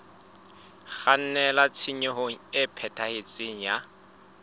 kgannela tshenyong e phethahetseng ya